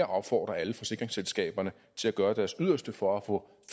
opfordre alle forsikringsselskaberne til at gøre deres yderste for at få